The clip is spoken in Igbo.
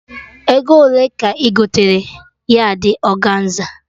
Ego ole ka ị gotere yardị ọganza?